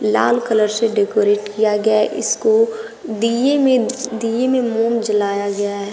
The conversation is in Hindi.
लाल कलर से डेकोरेट किया गया है इसको दिए में दिए में मोम जलाया गया है।